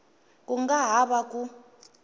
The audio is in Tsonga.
ku nga ha va ku